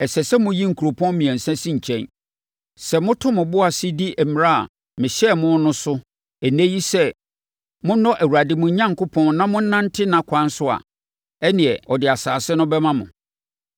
ɛsɛ sɛ moyi nkuropɔn mmiɛnsa si nkyɛn. Sɛ moto mo bo ase di mmara a mehyɛɛ mo no so ɛnnɛ yi sɛ monnɔ Awurade mo Onyankopɔn na monnante nʼakwan so a, ɛnneɛ, ɔde asase no bɛma mo.